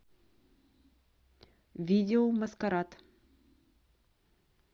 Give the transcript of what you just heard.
видео маскарад